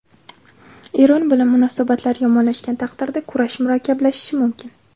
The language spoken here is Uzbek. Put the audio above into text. Eron bilan munosabatlar yomonlashgan taqdirda kurash murakkablashishi mumkin.